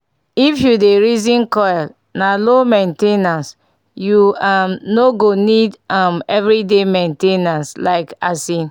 if u dey reason coil na low main ten ance -u um no go need um everyday reminder like asin